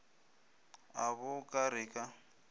a bo ka re ka